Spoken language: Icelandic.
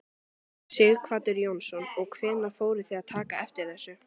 Sighvatur Jónsson: Og hvenær fóruð þið að taka eftir þessu?